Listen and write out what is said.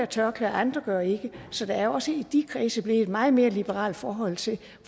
tørklæde og andre gør ikke så der er også i de kredse blevet et meget mere liberalt forhold til